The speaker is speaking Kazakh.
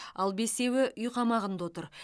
ал бесеуі үй қамағында отыр